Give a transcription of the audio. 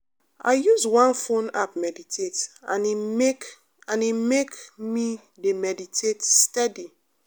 i use one phone app meditate and e make and e make me dey meditate steady.